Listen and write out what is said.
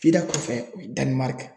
kɔfɛ u ye Danimariki.